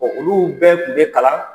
olu bɛɛ tun bɛ kalan